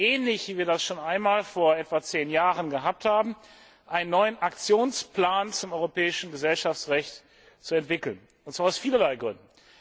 ähnlich wie wir das schon einmal vor etwa zehn Jahren gehabt haben, einen neuen Aktionsplan zum europäischen Gesellschaftsrecht zu entwickeln, und zwar aus vielerlei Gründen.